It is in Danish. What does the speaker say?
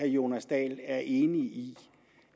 jonas dahl er enig i